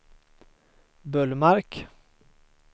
Bullmark